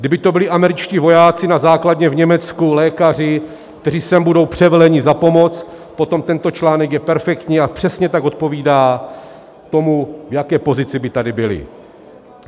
Kdyby to byli američtí vojáci na základně v Německu, lékaři, kteří sem budou převeleni na pomoc, potom tento článek je perfektní a přesně tak odpovídá tomu, v jaké pozici by tady byli.